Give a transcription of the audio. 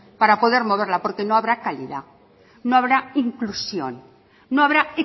para poder moverla porque no habrá calidad no habrá inclusión no habrá